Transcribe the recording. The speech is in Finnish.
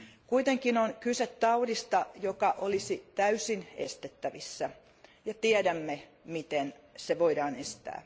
Kuitenkin on kyse taudista, joka olisi täysin estettävissä, ja tiedämme miten se voidaan estää.